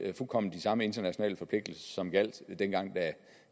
fuldkommen de samme internationale forpligtelser som gjaldt dengang